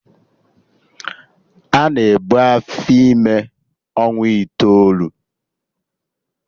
Ana ebu afọ ime ọnwa itoolu